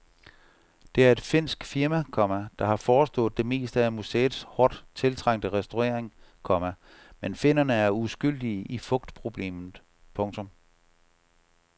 Det er et finsk firma, komma der har forestået det meste af museets hårdt tiltrængte restaurering, komma men finnerne er uskyldige i fugtproblemet. punktum